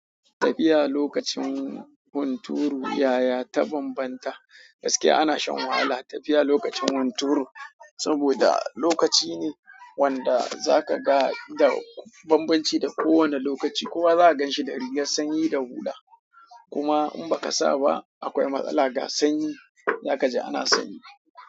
Tafiya lokacin hunturu, yaya ta banbanta? Gaskiya ana shan wahala tafiya lokacin hunturu saboda lokaci ne wanda zaka ga da banbanci da kowane lokaci. Kowa za ganshi da rigar sanyi da hula. Kuma in baka saba akwai matsala ga sanyi, za kaji ana sanyi.